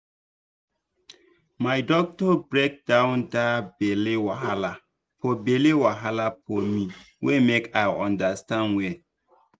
my doctor break down that belle wahala for belle wahala for me way make i understand well